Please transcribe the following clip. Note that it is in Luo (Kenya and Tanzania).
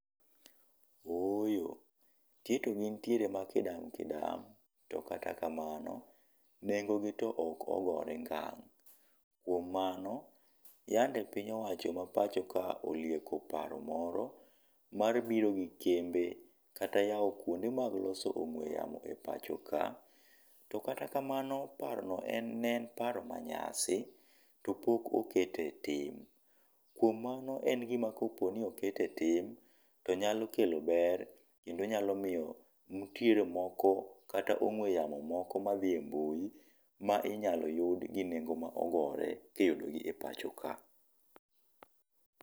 Ooyo nitie to gintiere ma kidam kidam to kata kamano, nengo gi to ok ogore ngang'. Kuom mano, yande piny owacho ma pacho ka olieko paro moro mar biro gi kembe kata yawo kuonde mag loso ong'we yamo e pacho ka. To kata kamano paro no en paro manyasi to pok oket e tim. Kuom mano en gima kopo ni oket e tim to nyalo kelo ber kendo nyalo miyo nitiere moko kata ong'we yamo moko madhi e mbui ma inyalo yudi gi nengo ma ogore kiyudogi e pacho ka.